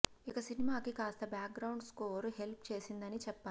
ఇక సినిమాకి కాస్త బ్యాక్ గ్రౌండ్ స్కోర్ హెల్ప్ చేసిందని చెప్పాలి